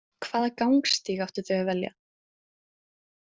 Hvaða gangstíg áttu þau að velja?